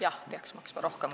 Jah, peaks kohe maksma rohkem.